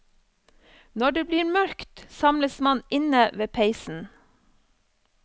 Når det blir mørkt samles man inne ved peisen.